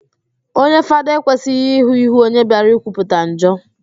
Onye Fada ekwesịghị ịhụ íhú onye bịara ikwupụta njọ